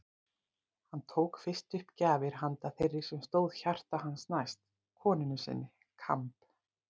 Hann tók fyrst upp gjafir handa þeirri sem stóð hjarta hans næst: konunni sinni: Kamb.